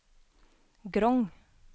Grong